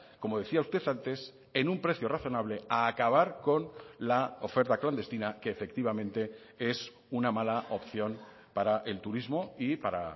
como decía usted antes en un precio razonable a acabar con la oferta clandestina que efectivamente es una mala opción para el turismo y para